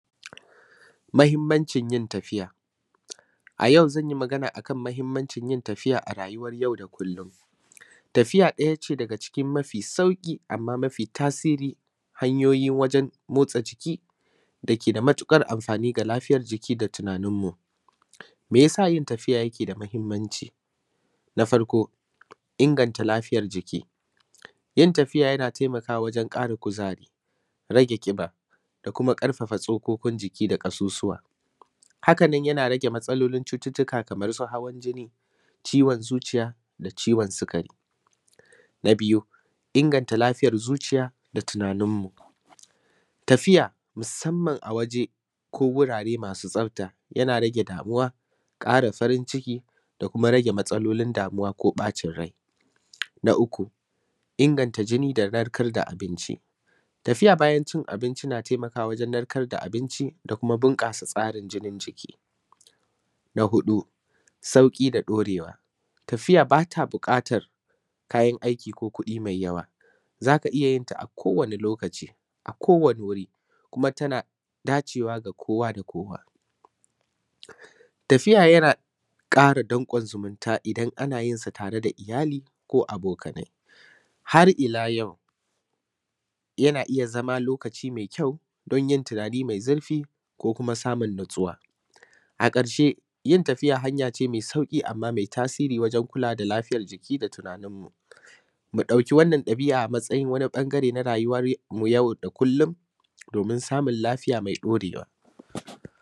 muhimmacin yin tafiya a yau zan yi magana akan mahimmancin yin tafiya a rayuwan yau da kullumn tafiya ɗaya ce daga cikin mafi sauƙi amma mafi tasiri hanyoyi wajen motsa jiki dake da matuƙar amfani ga lafiyar jiki da tunanin mu me yasa yin tafiya yake da mahimmanci na farko inganta lafiyar jiki yin tafiya yana taimakawa wajen ƙara kuzari rage ƙiba da kuma ƙarfafa tsokokin jiki da kuma ƙasussuwa haka nan yana rage matsalar cututtuka kamar su hawan jini ciwon zuciya da ciwon sikari na biyu inganta lafiyar zuciya da tunanin mu tafiya musamman a waje ko wurare ma; su tsafta yana rage damuwa ƙa; ra farin ciki da kuma rage matsalolin damuwa ko ɓacin rai na uku inganta jini da narkar da abinci tafiya bayan cin abinci na taimakawa wajen narkar da abinci da kuma bunƙasa tsarin jinin jiki na huɗu sauƙi da ɗaurewa tafiya bata buƙatar kayan aiki ko kuɗi mai yawa za ka iya yin ta a kowani lokaci a kowani wuri kuma tana dacewa da kowa da kowa tafiya yana ƙara danƙon zumunta idan ana yin sa tare da iyali ko abokanai har ila yau yana iya zama lokaci mai kyau gurin yin tunani mai zurfi ko kuma samun natsuwa a ƙarshe yin tafiya hanya ce mai sauƙi amma mai tasiri wajen kulawa da lafiyar jiki da tunanin mu mu ɗauki wannan ɗabi'a a matsayin wani ɓangare na rayuwan mu na yau da kullum domin samun lafiya mai ɗaurewa